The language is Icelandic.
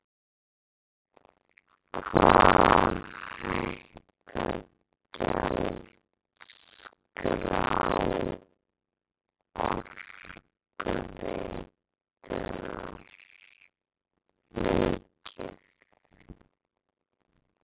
Hvað á að hækka gjaldskrá Orkuveitunnar mikið?